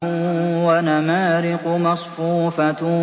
وَنَمَارِقُ مَصْفُوفَةٌ